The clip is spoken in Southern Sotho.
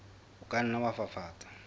o ka nna wa fafatsa